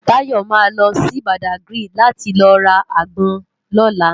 Tayo má lò si Bádágiri láti lò rá ágbòn lòlá